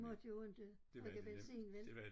De måtte jo inte bruge benzin vel